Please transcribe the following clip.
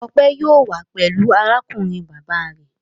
Ọpẹ yóò wá pẹ̀lú arákùnrin bàbá rẹ̀.